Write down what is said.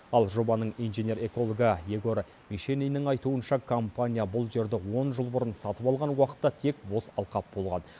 ал жобаның инженер экологы егор мишениннің айтуынша компания бұл жерді он жыл бұрын сатып алған уақытта тек бос алқап болған